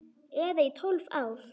Eða í tólf ár?